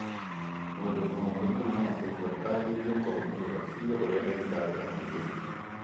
Mũndũ mũrwaru mũrimũ wa typhoid agĩrĩirũo kũrũmĩrĩra biũ ũrĩa ndagĩtarĩ amwĩrĩte.